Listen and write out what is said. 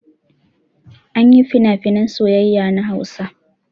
Anyin finafinan soyayya na hausa